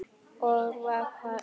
Og svo var um okkur.